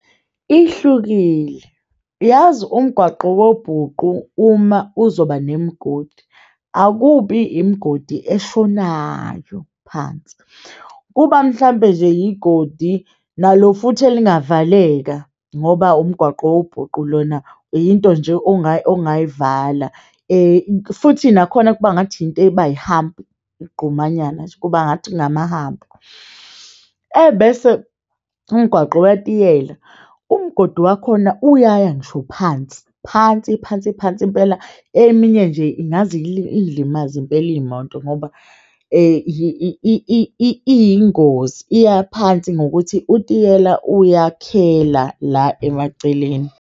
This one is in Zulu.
Ihlukile yazi umgwaqo wobhuqu uma uzoba nemigodi akubi imigodi eshonayo phansi, kuba mhlampe nje igodi nalo futhi elingavaleka ngoba umgwaqo wobhuqu lona into nje ongayivala futhi nakhona kuba ngathi into eba yi-hump igqumanyana nje kubengathi kunama-hump ebese umgwaqo wetiyela umgodi wakhona uyaya ngisho phansi, phansi, phansi, phansi impela. Eminye nje ingaze ilimaze impela iyimoto ngoba iyingozi iya phansi ngokuthi utiyela uyakhela la emaceleni.